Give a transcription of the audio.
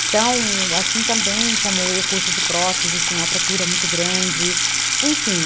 Então, assim também como o curso de prótese tinha uma procura muito grande, enfim.